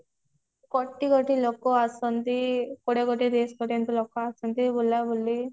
କୋଟି କୋଟି ଲୋକ ଆସନ୍ତି କୋଡିଏ କୋଟି ତିରିଶି କୋଟି ଏମତି ଲୋକ ଆସନ୍ତି ବୁଲାବୁଲି